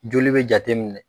Joli bɛ jateminɛ?